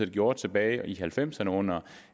gjort tilbage i nitten halvfemserne under